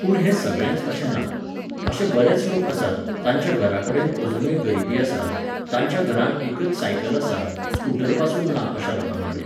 पूण हें सगळेंच अशें ना. अशे बरेच लोक आसात, तांच्या घराकडेन अजुनूय गरीबी आसा, तांच्या घरांत एकच सायकल आसा, स्कूटरपासून ना अशा लोकांकडेन.